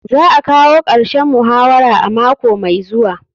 Za a kawo karshen muhawara a mako mai zuwa.